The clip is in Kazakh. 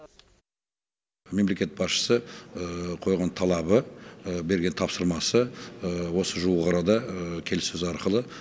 мемлекет басшысы қойған талабы берген тапсырмасы осы жуық арада келіссөз арқылы